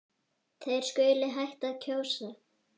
Þeir skuli hætta að kjósa.